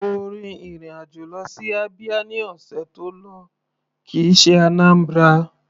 Mo rin ìrìn àjò lọ sí Abia ní ọ̀sẹ̀ tó lọ kìí ṣe Anambra.